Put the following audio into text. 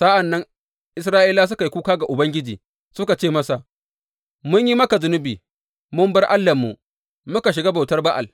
Sa’an nan Isra’ilawa suka yi kuka ga Ubangiji, suka ce, Mun yi maka zunubi, mun bar Allahnmu muka shiga bautar Ba’al.